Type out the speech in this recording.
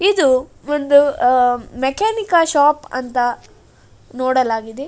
ಇದು ಒಂದು ಅಹ್ ಮೆಕ್ಯಾನಿಕ್ ಶಾಪ್ ಅಂತ ನೋಡಲಾಗಿದೆ.